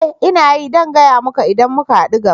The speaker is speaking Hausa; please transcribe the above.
Ee! Ina yi kuma zan gaya muka idan muka hadu gaba